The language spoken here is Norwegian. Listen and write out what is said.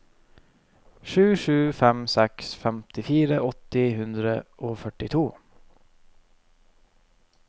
sju sju fem seks femtifire åtte hundre og førtito